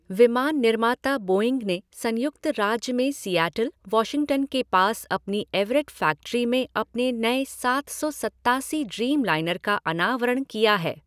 विमान निर्माता बोइंग ने संयुक्त राज्य में सीएटल, वॉशिंगटन के पास अपनी एवरेट फ़ैक्ट्री में अपने नए सात सौ सत्तासी ड्रीमलाइनर का अनावरण किया है।